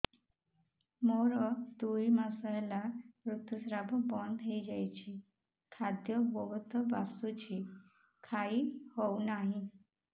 ମୋର ଦୁଇ ମାସ ହେଲା ଋତୁ ସ୍ରାବ ବନ୍ଦ ହେଇଯାଇଛି ଖାଦ୍ୟ ବହୁତ ବାସୁଛି ଖାଇ ହଉ ନାହିଁ